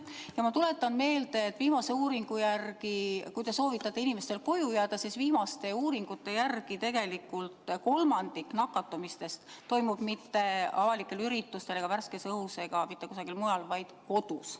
Ja ma tuletan meelde, et kui te soovitate inimestel koju jääda, siis viimaste uuringute järgi tegelikult kolmandik nakatumisest ei toimu mitte avalikel üritustel ega värskes õhus, vaid kodus.